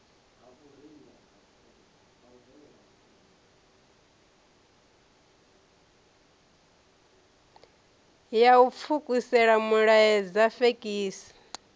ya u pfukisela milaedza fekisi